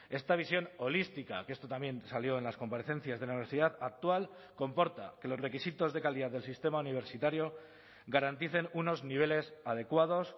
esta visión holística que esto también salió en las comparecencias de la universidad actual comporta que los requisitos de calidad del sistema universitario garanticen unos niveles adecuados